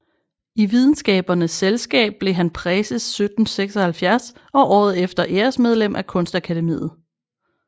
I Videnskabernes Selskab blev han præses 1776 og året efter æresmedlem af Kunstakademiet